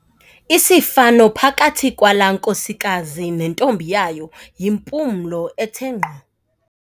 Isifano phakathi kwalaa nkosikazi nentombi yayo yimpumlo ethe nkqo.